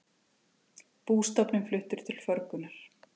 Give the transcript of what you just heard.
Bústofninn fluttur til förgunar